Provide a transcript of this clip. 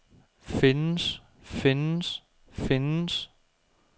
findes findes findes